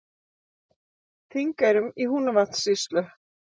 Þingeyrum í Húnavatnssýslu.